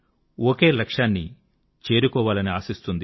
ఒకే లక్ష్యాన్ని చేరుకోవాలని ఆశిస్తుంది